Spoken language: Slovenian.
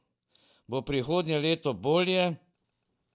Bo prihodnje leto bolje?